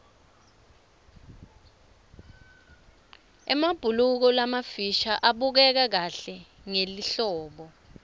emabhuluko lamafisha abukeka kahle ngelihlobo